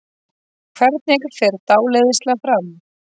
Hvernig fer dáleiðsla fram?